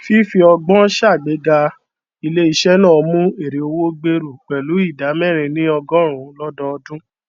fífí ọgbọn sàgbéga iléisẹ náà mú èrèowó gbèrú pẹlú ìdá mẹrin nínú ọgọrùnún lọdọọdún